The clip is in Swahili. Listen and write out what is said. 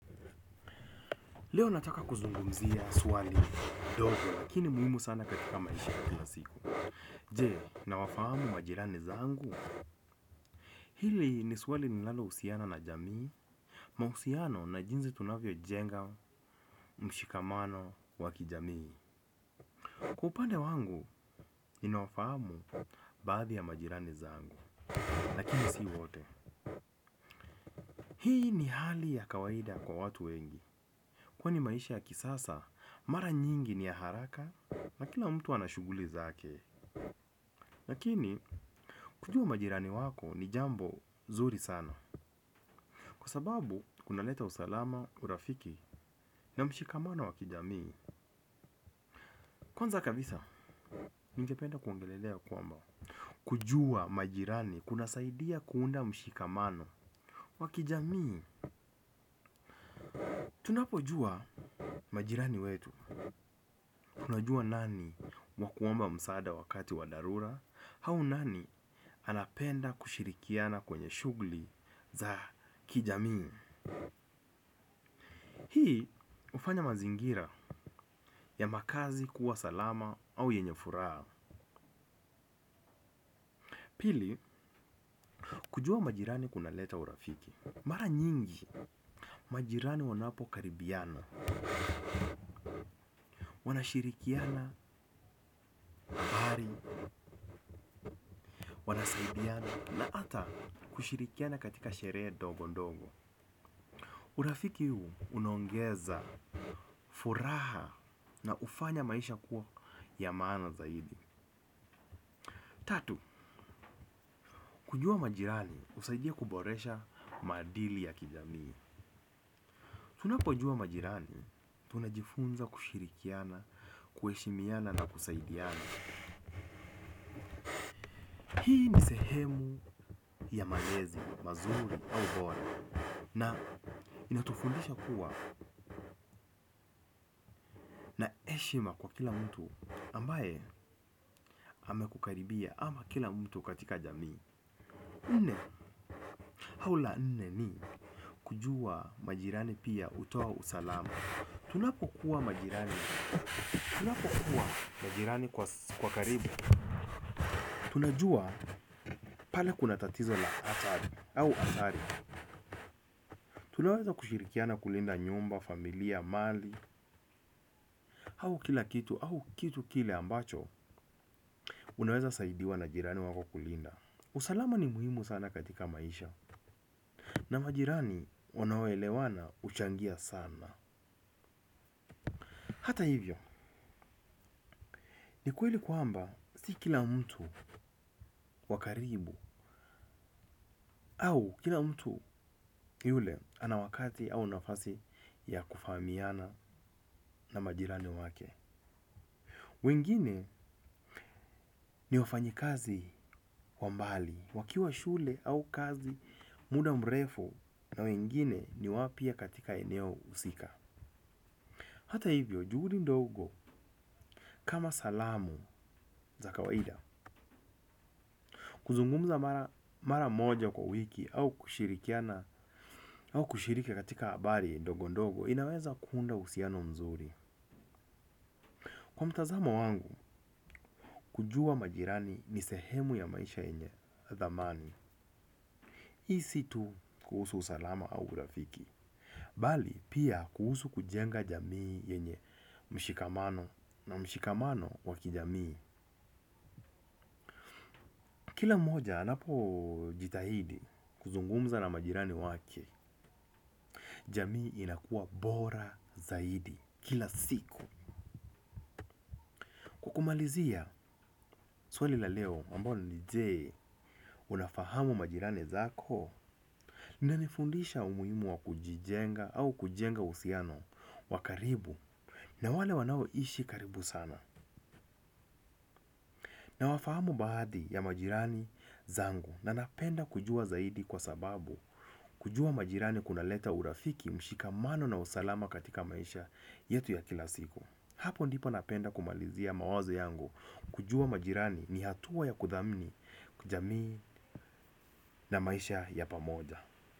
Leo nataka kuzungumzia swali ndogo lakini muhimu sana katika maisha kila siku. Je, nawafahamu majirani zangu. Hili ni swali linalohusiana na jamii. Mahusiano na jinsi tunavyojenga mshikamano wa kijamii, kwa upande wangu nina wafahamu baadhi ya majirani zangu. Lakini si wote. Hii ni hali ya kawaida kwa watu wengi, kwani maisha ya kisasa mara nyingi ni ya haraka na kila mtu ana shughuli zake lakini, kujua majirani wako ni jambo nzuri sana. Kwa sababu, kuna leta usalama, urafiki na mshikamano wa kijamii. Kwanza kabisa, ningependa kuongelelea kwamba, kujua majirani, kunasaidia kuunda mshikamano wa kijamii. Tunapojua majirani wetu tunajua nani, wa kuomba msaada wakati wa dharura au nani anapenda kushirikiana kwenye shughuli za kijamii. Hii hufanya mazingira ya makazi kuwa salama au yenye furaha. Pili, Kujua majirani kunaleta urafiki Mara nyingi, majirani wanapo karibiana. Wanashirikiana hali, wanasaidiana na ata kushirikiana katika sherehe ndogo ndogo. Urafiki huu unaongeza furaha na hufanya maisha kuwa ya maana zaidi. Tatu, Kujua majirani husaidia kuboresha maadili ya kijamii Tunapojua majirani, tunajifunza kushirikiana, kuheshimiana na kusaidiana. Hii ni sehemu ya malezi, mazuri au bora. Na inatufundisha kuwa na heshima kwa kila mtu ambaye amekukaribia ama kila mtu katika jamii. Nne au la nne ni kujua majirani pia hutoa usalama. Tunapokuwa majirani, tunapokuwa majirani kwa karibu. Tunajua pale kuna tatizo la atari au hatari. Tunaweza kushirikiana kulinda nyumba, familia, mali, au kila kitu au kitu kile ambacho. Unaweza saidiwa na majirani wako kulinda. Usalama ni muhimu sana katika maisha. Na majirani wanao elewana huchangia sana. Hata hivyo, ni kweli kwamba si kila mtu wa karibu au kila mtu yule ana wakati au nafasi ya kufahamiana na majirani wake. Wengine ni wafanyi kazi wa mbali, wakiwa shule au kazi muda mrefu na wengine ni wapya katika eneo husika. Hata hivyo, juhudi ndogo kama salamu za kawaida. Kuzungumza mara moja kwa wiki au kushirikiana au kushiriki katika habari ndogo ndogo inaweza kuunda uhusiano mzuri. Kwa mtazamo wangu, kujua majirani ni sehemu ya maisha yenye dhamani. Hii si tu kuhusu usalama au urafiki. Bali, pia kuhusu kujenga jamii yenye mshikamano na mshikamano wa kijamii. Kila mmoja anapojitahidi kuzungumza na majirani wake, jamii inakua bora zaidi kila siku. Kwa kumalizia swali la leo ambalo ni je, unafahamu majirani zako. Linanifundisha umuhimu wa kujijenga au kujenga uhusiano wa karibu na wale wanaoishi karibu sana. Na wafahamu baadhi ya majirani zangu na napenda kujua zaidi kwa sababu kujua majirani kunaleta urafiki mshikamano na usalama katika maisha yetu ya kila siku. Hapo ndipo napenda kumalizia mawazo yangu kujua majirani ni hatua ya kuthamini jamii na maisha ya pamoja.